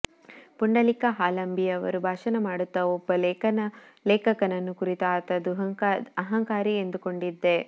ಪುಂಡಲೀಕ ಹಾಲಂಬಿಯವರು ಭಾಷಣ ಮಾಡುತ್ತಾ ಒಬ್ಬ ಲೇಖಕನನ್ನು ಕುರಿತು ಈತ ಅಹಂಕಾರಿ ಎಂದುಕೊಂಡಿದ್ದೆ